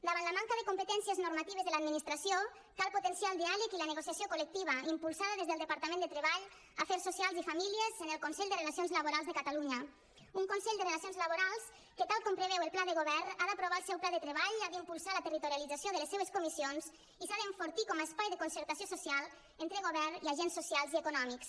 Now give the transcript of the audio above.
davant la manca de competències normatives de l’administració cal potenciar el diàleg i la negociació col·lectiva impulsada des del departament de treball afers socials i famílies en el consell de relacions laborals de catalunya un consell de relacions laborals que tal com preveu el pla de govern ha d’aprovar el seu pla de treball ha d’impulsar la territorialització de les seves comissions i s’ha d’enfortir com a espai de concertació social entre govern i agents socials i econòmics